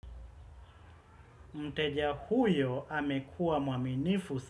Mteja huyo amekua mwaminifu.